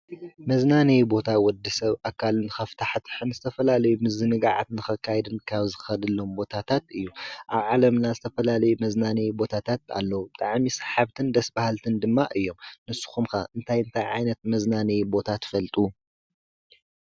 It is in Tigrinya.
መዝናነይ ቦታ ወዲ ሰብ ኣካሉ ንኸፍታሕትሕን ዝተፈላለይ ምዝንጋዓትንኸካይድን ካብ ዝኸድሎም ቦታታት እዩ፡፡ ኣብ ዓለምና ዝተፈላለዩ መዝናነይ ቦታታት ኣለዉ፡፡ ብጣዕሚ ሳሓብትን ደስ በሃልትን ድማ እዮም፡፡ ንስኻትኩም ከ እንታይ እንታይ ዓይነት መዝናነይ ቦታ ትፈልጡ?